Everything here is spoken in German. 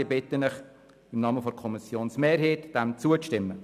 Ich bitte Sie im Namen der Kommissionsmehrheit, diesem Antrag zuzustimmen.